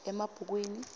emabhukwini